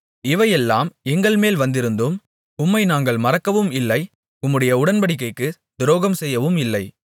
இவையெல்லாம் எங்கள்மேல் வந்திருந்தும் உம்மை நாங்கள் மறக்கவும் இல்லை உம்முடைய உடன்படிக்கைக்குத் துரோகம்செய்யவும் இல்லை